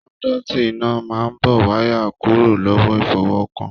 Kọ́nduuti iná máa n bó wayà kúrò lọwọ ifọwọkan.